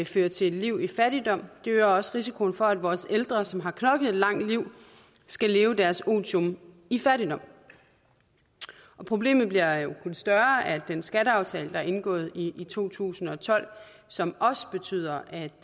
fører til et liv i fattigdom og det øger også risikoen for at vores ældre som har knoklet et langt liv skal leve deres otium i fattigdom problemet bliver jo kun større af den skatteaftale der er indgået i to tusind og tolv som også betyder at